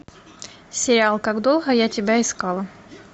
сериал как долго я тебя искала